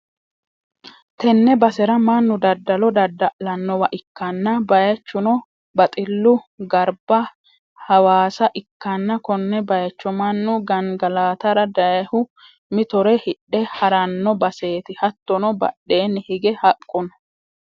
tenne basera mannu daddalo dadda'lannowa ikkanna bayichuno baxillu garba hawaasa ikkanna, konne, baycho mannu gangalatara dayihu mitore hidhe ha'ranno baseeti, hattono badheenni hige haqqu no.